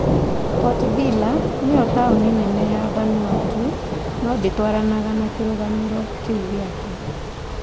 Port Vila nĩyo taũni nene ya Vanuatu, no ndĩtwaranaga na kĩrũgamĩrĩro kĩu gĩake.